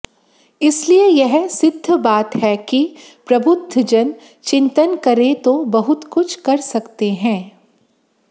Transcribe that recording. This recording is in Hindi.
इसलिए यह सिद्ध बात है कि प्रबुध्दजन चिन्तन करें तो बहुत कुछ कर सकते हैं